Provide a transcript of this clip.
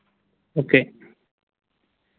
Okay